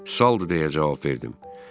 Salıdı, deyə cavab verdim.